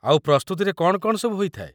ଆଉ ପ୍ରସ୍ତୁତିରେ କ'ଣ କ'ଣ ସବୁ ହେଇଥାଏ ?